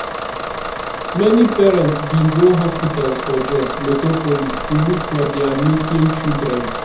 many parents bin go hospitals for jos metropolis to look for dia missing children.